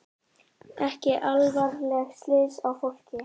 Ekki alvarleg slys á fólki